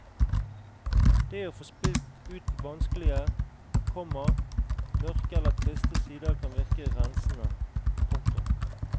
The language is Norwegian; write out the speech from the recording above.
Det å få spilt ut vanskelige, komma mørke eller triste sider kan virke rensende. punktum